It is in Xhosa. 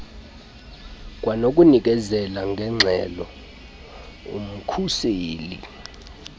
kwanokunikezela ngeengxelo umkhuseli